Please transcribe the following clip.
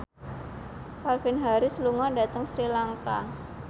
Calvin Harris lunga dhateng Sri Lanka